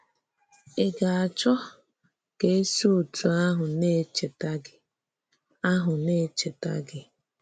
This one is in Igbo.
Ị̀ gà-achọ̀ ka e sị òtú ahụ na-echètà gị? ahụ na-echètà gị?